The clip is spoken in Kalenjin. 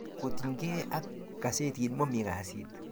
kotiny ge ak gazetit mami kasit